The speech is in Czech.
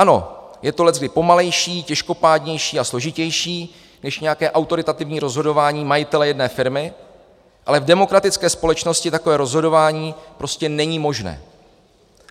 Ano, je to leckdy pomalejší, těžkopádnější a složitější než nějaké autoritativní rozhodování majitele jedné firmy, ale v demokratické společnosti takové rozhodování prostě není možné.